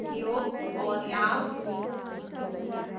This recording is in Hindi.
उपयोग और लाभ